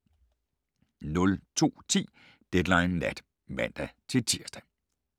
02:10: Deadline Nat (man-tir)